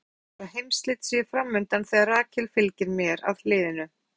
Hundarnir geyja eins og heimsslit séu fram undan þegar Rakel fylgir mér að hliðinu.